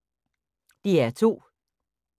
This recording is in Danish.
DR2